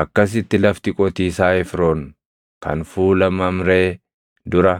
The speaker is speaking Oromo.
Akkasitti lafti qotiisaa Efroon kan fuula Mamree dura,